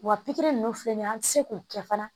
Wa pikiri ninnu filɛ nin ye an tɛ se k'o kɛ fana